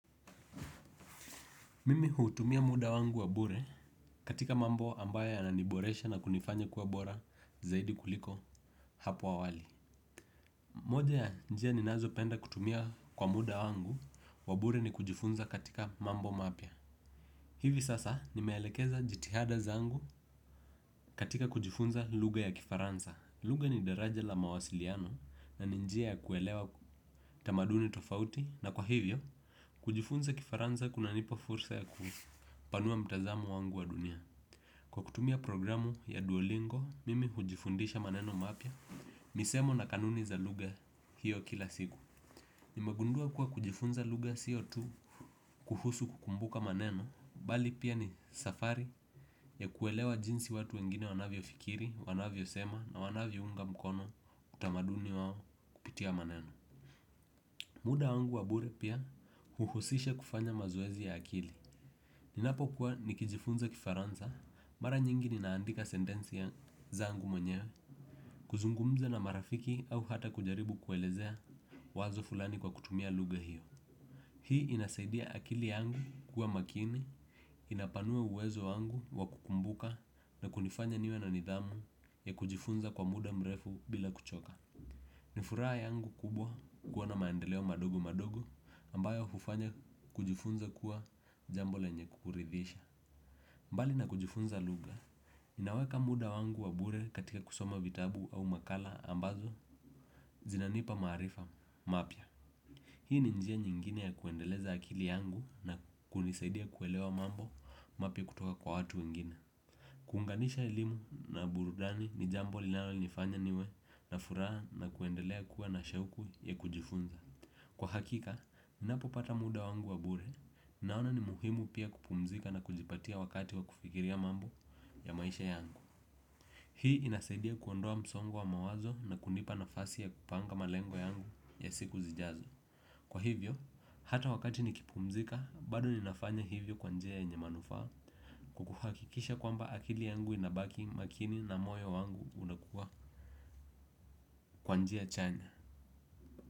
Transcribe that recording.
Mimi hutumia muda wangu wabure katika mambo ambayo yananiboresha na kunifanya kuwa bora zaidi kuliko hapo awali. Moja ya njia ninazopenda kutumia kwa muda wangu wa bure ni kujifunza katika mambo mapya. Hivi sasa nimeelekeza jitihada zangu katika kujifunza lugha ya kifaransa. Lugha ni daraja la mawasiliano na ni njia ya kuelewa tamaduni tofauti. Na kwa hivyo, kujifunza kifaransa kunanipa fursa ya kupanua mtazamo wangu wa dunia. Kwa kutumia programu ya duolingo, mimi hujifundisha maneno mapya. Misemo na kanuni za lugha hiyo kila siku. Nimegundua kuwa kujifunza lugha sio tu kuhusu kukumbuka maneno, bali pia ni safari ya kuelewa jinsi watu wengine wanavyofikiri, wanavyosema na wanavyounga mkono utamaduni wao kupitia maneno. Muda wangu wa bure pia uhusisha kufanya mazoezi ya akili. Ninapokuwa nikijifunza kifaransa, mara nyingi ninaandika sentensi ya zangu mwenyewe, kuzungumza na marafiki au hata kujaribu kuelezea wazo fulani kwa kutumia lugha hiyo. Hii inasaidia akili yangu kuwa makini, inapanua uwezo wangu wa kukumbuka na kunifanya niwe na nidhamu ya kujifunza kwa muda mrefu bila kuchoka. Ni furaha yangu kubwa kukuwa na maendeleo madogo madogo ambayo hufanya kujifunza kuwa jambo lenye kuridhisha mbali na kujifunza naweka muda wangu wa bure katika kusoma vitabu au makala ambazo zinanipa maarifa mapya. Hii ni njia nyingine ya kuendeleza akili yangu na kunisaidia kuelewa mambo mapya kutoka kwa watu wengine. Kuunganisha elimu na burudani ni jambo linalonifanya niwe na furaha na kuendelea kuwa na shauku ya kujifunza. Kwa hakika, ninapopata muda wangu wa bure naona ni muhimu pia kupumzika na kujipatia wakati wa kufikiria mambo ya maisha yangu. Hii inasaidia kuondoa msongo wa mawazo na kunipa nafasi ya kupanga malengo yangu ya siku zijazo. Kwa hivyo, hata wakati nikipumzika, bado ninafanya hivyo kwa njia yenye manufaa kwa kuhakikisha kwamba akili yangu inabaki makini na moyo wangu unakuwa kwa njia chanya.